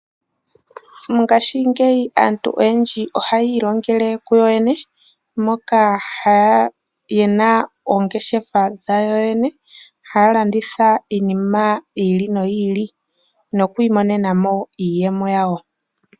Mongashingeyi aantu oyendji ohaya ilongele kuyoyene, moka yena oongeshefa dhawo yoyene, haya landitha iinima yi ili noyi ili nokwiimonema iiyemo yawo.